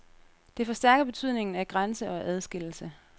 Det forstærker betydningen af grænse og adskillelse.